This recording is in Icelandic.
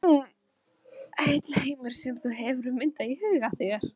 Heill heimur sem þú hefur myndað í huga þér.